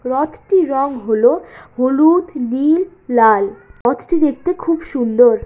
রথটির রং হলো হলুদ নীল লাল। রথটি দেখতে খুব সুন্দর।